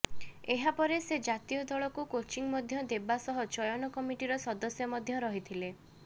ଏହା ପରେ ସେ ଜାତୀୟ ଦଳକୁ କୋଚିଂ ମଧ୍ୟ ଦେବା ସହ ଚୟନ କମିଟିର ସଦସ୍ୟ ମଧ୍ୟ ରହିଥିଲେ